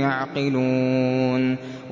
يَعْقِلُونَ